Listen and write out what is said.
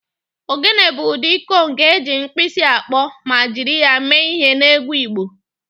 Ogene bụ ụdị gọng eji mkpisi akpọ ma jiri ya mee ihe n'egwu Igbo